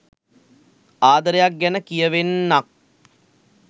ආදරයක් ගැන කියවෙන්නක්.